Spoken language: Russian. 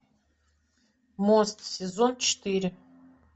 мост сезон четыре